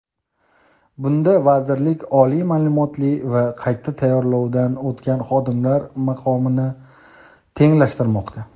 Bunda vazirlik oliy maʼlumotli va qayta tayyorlovdan o‘tgan xodimlar maqomini tenglashtirmoqda.